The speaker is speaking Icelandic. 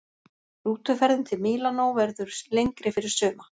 Rútuferðin til Mílanó verður lengri fyrir suma.